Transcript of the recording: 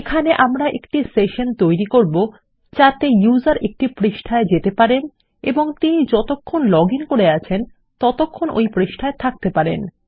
এখানে আমরা একটি সেশন তৈরী করব যাতে ব্যবহারকারী একটি পৃষ্ঠা এন্টার করতে পারেন এবং তিনি যতক্ষণ সফলভাবে লগ ইন করে আছেন ততক্ষণ ওই পৃষ্ঠায় থাকতে পারেন